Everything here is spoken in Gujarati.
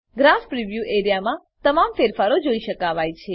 ગ્રાફ પ્રિવ્યૂ એઆરઇએ માં તમામ ફેરફારો જોઈ શકાવાય છે